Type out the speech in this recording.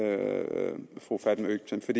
fru fatma øktem skal